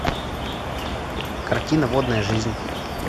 картина водная жизнь